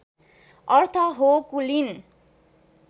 अर्थ हो कुलीन